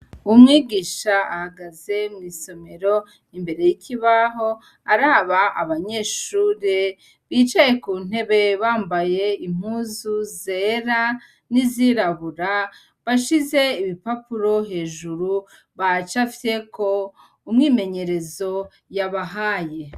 Umwigisha ahagaze mw'isomero, imbere y'ikibaho araba abanyeshure bicaye ku ntebe bambaye impuzu zera n'izirabura, bashize ibipapuro hejuru bacapyeko umwimenyerezo yabahaye.